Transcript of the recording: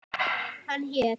Hann hét